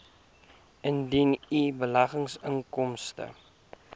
indien u beleggingsinkomste